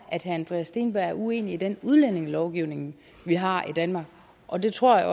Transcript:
at herre andreas steenberg er uenig i den udlændingelovgivning vi har i danmark og det tror jeg